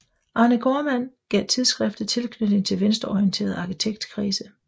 Arne Gaardmand gav tidsskriftet tilknytning til venstreorienterede arkitektkredse